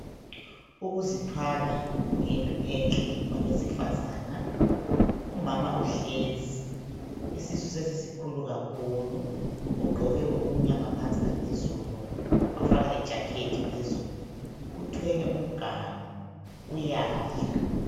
Ukuzithwala kuyinto enhle kwabesifazana. Umama uhlezi, isisu sesisikhulu kakhulu. Ugqoke okumnyama phansi laphezulu wafaka ijakhethi phezulu. Uthwele umganu, uyadla